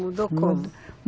Mudou como?